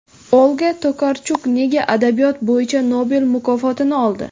Olga Tokarchuk nega adabiyot bo‘yicha Nobel mukofotini oldi?